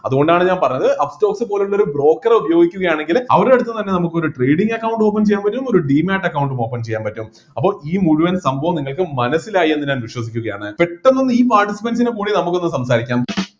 അതുകൊണ്ടാണ് ഞാൻ പറഞ്ഞത് upstox പോലുള്ള ഒരു broker റെ ഉപയോഗിക്കുകയാണെങ്കില് അവരുടെ അടുത്ത്ന്ന് തന്നെ നമുക്ക് ഒരു trading account ഉം open ചെയ്യാൻ പറ്റും ഒരു demate account ഉം open ചെയ്യാൻ പറ്റും അപ്പൊ ഈ മുഴുവൻ സംഭവും നിങ്ങൾക്ക് മനസ്സിലായി എന്ന് ഞാൻ വിശ്വസിക്കുന്നു പെട്ടൊന്ന് ഈ participants ൻ്റെ കൂടെ നമുക്ക് ഒന്ന് സംസാരിക്കാം